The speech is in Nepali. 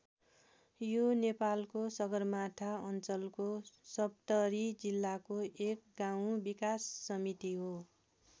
यो नेपालको सगरमाथा अञ्चलको सप्तरी जिल्लाको एक गाउँ विकास समिति हो।